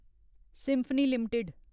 symphony limited